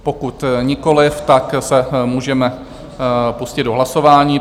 Pokud nikoliv, tak se můžeme pustit do hlasování.